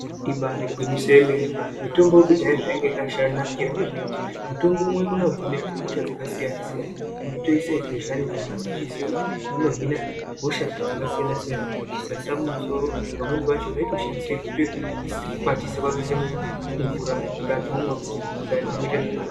Ibari gwinyiso yemenwe mitombo yekudhaya zvayanga yakasha nakira ngezvekuti mutombomwe kono hine hosha dzakasiyana siyana waitoise bhedhlani pamhatso uchiziye kuti rino hina hosha dzakasiyana siyana zvisasa mumisoro pamweni pacho yaitoshandiswe kutokwatia kwakuise mumvura kuti antu omwa kuti mundani muite zvakanaka.